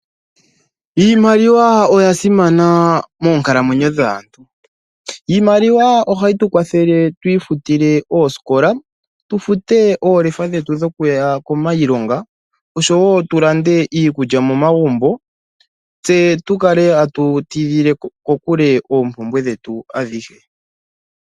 Iimaliwa oya simana moonkalamwenyo dhaantu. Iimaliwa ohayi tu kwathele twii futile oosikola, tufute oolefa dhetu dhokuya kiilonga osho wo tu lande iikulya momagumbo tse tukale atu tidhile kokule oompumbwe dhetu adhihe.